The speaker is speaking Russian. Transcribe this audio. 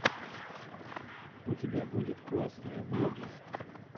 у тебя будет классные влоги